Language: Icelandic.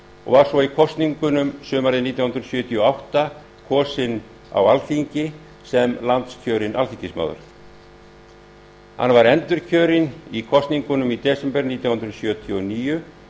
og var svo í kosningunum sumarið nítján hundruð sjötíu og átta kosinn á alþingi sem landskjörinn alþingismaður hann var endurkjörinn í kosningunum í desember nítján hundruð sjötíu og níu